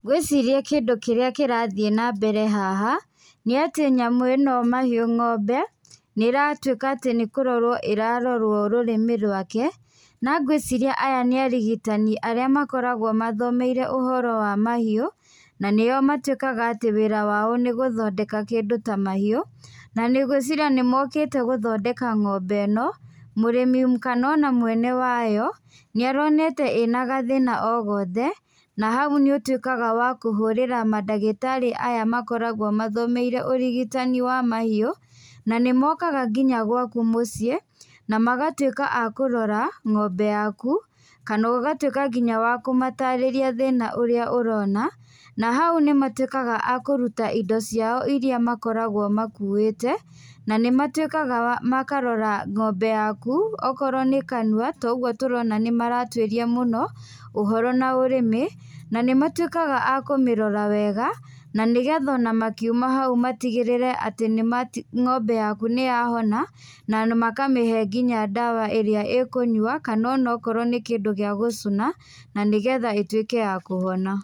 Ngwĩciria kĩndũ kĩrĩa kĩrathiĩ na mbere haha, nĩ atĩ nyamu ĩno mahiũ ng'ombe, nĩ ĩratuĩka atĩ nĩ kũrorwo ĩrarorwo rũrĩmĩ rwake, na ngwĩciria aya nĩ arigitani arĩa makoragwo mathomeire ũhoro wa mahiũ, na nĩo matuĩkaga wĩra wao nĩ gũthondeka kĩndũ ta mahiũ, na ngwĩciria nĩ mokĩte gũthondeka ng'ombe ĩno, mũrĩmi kana ona mwene wayo nĩ aronete ĩna gathĩna ogothe, na hau nĩ ũtuĩkaga wa kũhũrĩra mandagĩtarĩ aya makoragwo mathomeire ũrigitani wa mahiũ, na nĩ mokaga nginya gwaku mũciĩ na magatuĩka akũrora ng'ombe yaku, kana ũgatuĩka nginya wa kũmatarĩria thĩna ũrĩa ũrona, na hau nĩ matuĩkaga akũruta indo ciao iria makoragwo makuĩte, na nĩ matuĩkaga makarora ng'ombe yakũ okorwo nĩ kanua, ta ũguo tũrona nĩ maratuĩria ũhoro na rũrĩmĩ, na nĩ matuĩkaga a kũmĩrora wega, na nĩgetha makiuma o hau matigĩrĩre ng'ombe yaku nĩ ya hona, na makamĩhe nginya ndawa ĩrĩa ĩkũnyua, kana onokorwo nĩ kĩndũ gĩa gũcũna, nĩgetha ĩtuĩke ya kũhona.